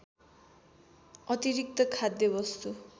अतिरिक्त खाद्य वस्तु